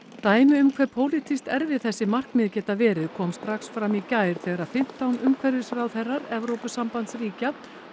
dæmi um hve pólitískt erfið þessi markmið geta verið kom strax fram í gær þegar fimmtán umhverfisráðherrar Evrópusambandsríkja